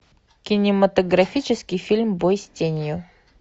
кинематографический фильм бой с тенью